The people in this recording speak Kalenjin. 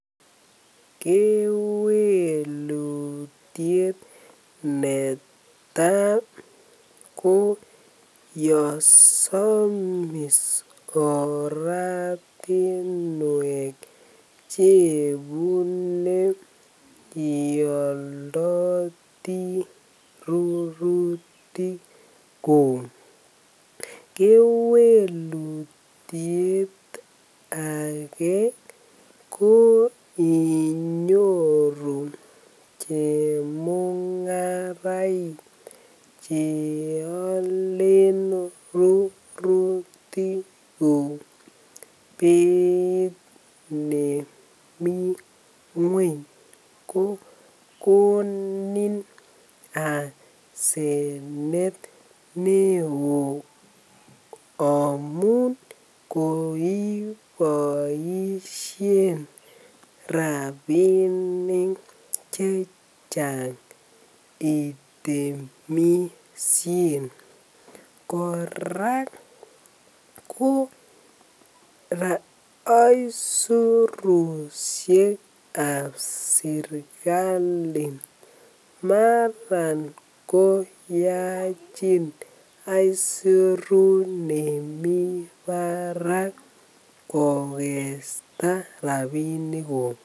Kewelutiet netai ko yon samis oratinwek Che ibune yon imondoti rurutikuk kewelutiet age ko inyoru chemungarainik Che alen rurutik beit nemi ngwony kogonin asenet neo amun kiboisien rabinik Che Chang itemisien kora aisurusiek ab serkali Mara ko yachin aisurut nemi barak kogesta rabinikuk